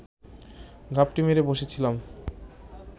ঘাপটি মেরে বসে ছিলাম